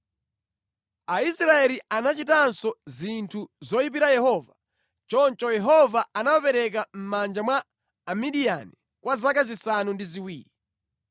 Aisraeli anachitanso zinthu zoyipira Yehova, choncho Yehova anawapereka mʼmanja mwa Amidiyani kwa zaka zisanu ndi ziwiri.